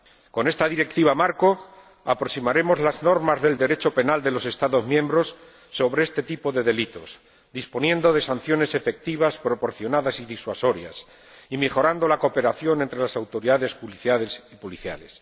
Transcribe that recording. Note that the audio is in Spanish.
Con esta Directiva marco aproximaremos las normas del Derecho penal de los Estados miembros sobre este tipo de delitos, disponiendo de sanciones efectivas, proporcionadas y disuasorias, y mejorando la cooperación entre las autoridades judiciales y policiales.